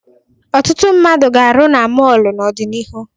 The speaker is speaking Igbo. Ọtụtụ mmadụ ga-arụ na mọọlụ n'ọdịnihu.